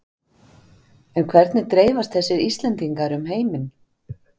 En hvernig dreifast þessi Íslendingar um heiminn?